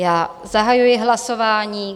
Já zahajuji hlasování.